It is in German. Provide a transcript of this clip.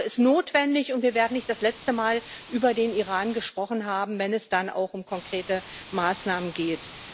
Die Aussprache ist notwendig, und wir werden nicht zum letzten Mal über den Iran gesprochen haben, wenn es dann auch um konkrete Maßnahmen geht.